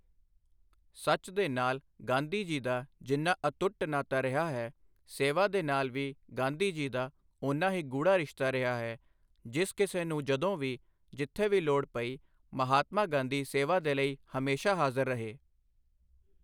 ਸੱਚ ਦੇ ਨਾਲ ਗਾਂਧੀ ਜੀ ਦਾ ਜਿੰਨਾ ਅਤੁੱਟ ਨਾਤਾ ਰਿਹਾ ਹੈ, ਸੇਵਾ ਦੇ ਨਾਲ ਵੀ ਗਾਂਧੀ ਜੀ ਦਾ ਓਨਾ ਹੀ ਗੂੜ੍ਹਾ ਰਿਸ਼ਤਾ ਰਿਹਾ ਹੈ, ਜਿਸ ਕਿਸੇ ਨੂੰ ਜਦੋਂ ਵੀ, ਜਿੱਥੇ ਵੀ ਲੋੜ ਪਈ, ਮਹਾਤਮਾ ਗਾਂਧੀ ਸੇਵਾ ਦੇ ਲਈ ਹਮੇਸ਼ਾ ਹਾਜ਼ਰ ਰਹੇ।